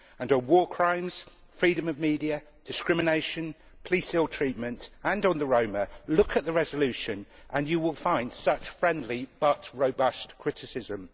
On war crimes, freedom of media, discrimination, police ill treatment and on the Roma, look at the resolution and you will find such friendly but robust criticism.